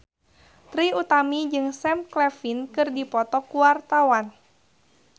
Trie Utami jeung Sam Claflin keur dipoto ku wartawan